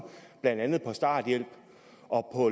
blandt andet på starthjælp og